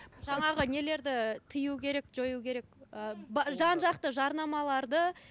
жаңағы нелерді тыю керек жою керек ы жан жақты жарнамаларды